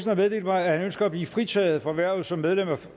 har meddelt mig at han ønsker at blive fritaget fra hvervet som medlem af